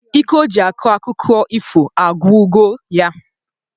Ike o ji akọ akụkọ ifo agwugo ya